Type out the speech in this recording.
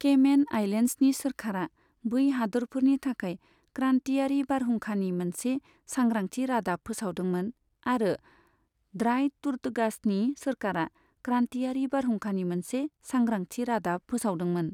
Cayman आइलेन्ड्सनि सोरखारा बै हादोरफोरनि थाखाय क्रानतियारि बारहुंखानि मोनसे सांग्रांथि रादाब फोसावदोंमोन, आरो ड्राई टर्टुगासनि सोरखारा क्रानतियारि बारहुंखानि मोनसे सांग्रांथि रादाब फोसावदोंमोन।